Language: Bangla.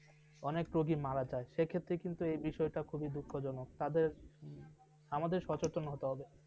অনেক রোগী মারা যায় সেই ক্ষেত্রে কিন্তু এই বিষয়টা খুবই দুঃখজনক তাদের আমাদের সচেতন হতে হবে ।